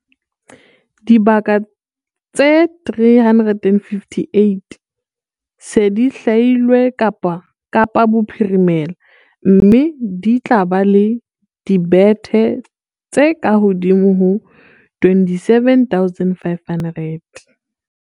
Dibaka tse 358 di se di hlwailwe Kapa Bophirimela, mme di tla ba le dibethe tse kahodimo ho 27 500.